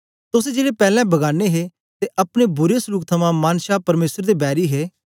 तोस जेड़े पैलैं बगाने हे ते अपने बुरे सलूक थमां मन छा परमेसर दे बैरी हे